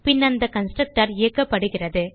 பின் அந்த கன்ஸ்ட்ரக்டர் இயக்கப்படுகிறது